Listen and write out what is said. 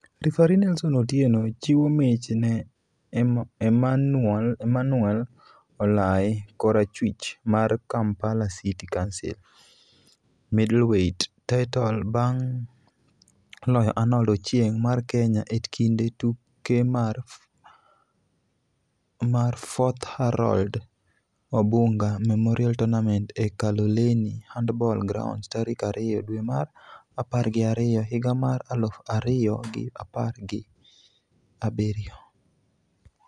Referee Nelson Otieno chiwo mich ne Emanual Olai (korachwich) mar Kampala City Council Middleweight title bang' loyo Arnold Ochieng mar Kenya e kinde tuke mar 4th Harold Obunga memorial tournament e Kaloleni handball grounds tarik ariyo dwe mar apar gi ariyo higa mar aluf ariyo gi apar hi abiriyo.